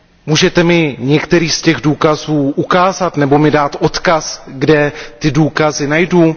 Můžete mi některý z těch důkazů ukázat nebo mi dát odkaz, kde ty důkazy najdu?